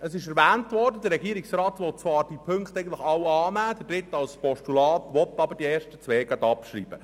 Wie erwähnt worden ist, will der Regierungsrat die betreffenden Punkte alle annehmen, den dritten als Postulat, aber die ersten beiden gleich abschreiben.